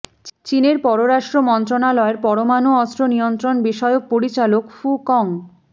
চীনের পররাষ্ট্র মন্ত্রণালয়ের পরমাণু অস্ত্র নিয়ন্ত্রণ বিষয়ক পরিচালক ফু কং